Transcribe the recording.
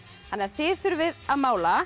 þið þurfið að mála